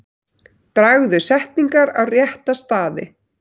Dragðu setningar á rétta staði.